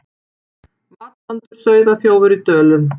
Matvandur sauðaþjófur í Dölum